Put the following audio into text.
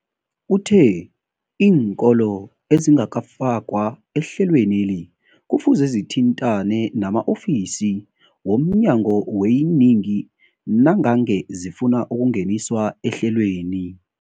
Uthe iinkolo ezingakafakwa ehlelweneli kufuze zithintane nama-ofisi wo mnyango weeyingi nangange zifuna ukungeniswa ehlelweni.